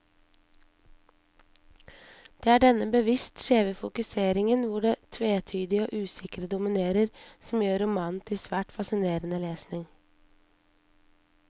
Det er denne bevisst skjeve fokuseringen, hvor det tvetydige og usikre dominerer, som gjør romanen til svært fascinerende lesning.